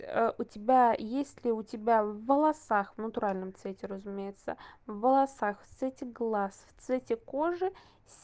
у тебя есть ли у тебя в волосах в натуральном цвете разумеется в волосах в цвете глаз в цвете кожи с